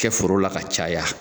kɛ foro la ka caya.